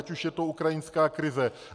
Ať už je to ukrajinská krize.